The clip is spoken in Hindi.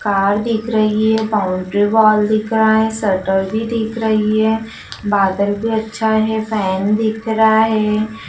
कार दिख रही है बाउंड्री वॉल दिख रहा है शटर भी दिख रही है बादल भी अच्छा है फैन दिख रहा है।